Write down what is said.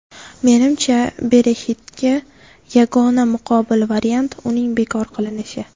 Menimcha, Brexit’ga yagona muqobil variant uning bekor qilinishi.